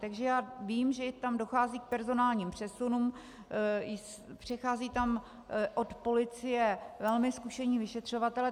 Takže já vím, že tam dochází k personálním přesunům, přecházejí tam od policie velmi zkušení vyšetřovatelé.